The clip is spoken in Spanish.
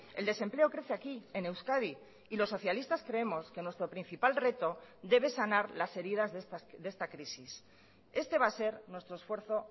el desempleo crece aquí en euskadi y los socialistas creemos que nuestro principal reto debe sanar las heridas de esta crisis este va a ser nuestro esfuerzo